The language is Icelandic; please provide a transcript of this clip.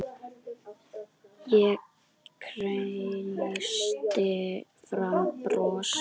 Ég kreisti fram bros.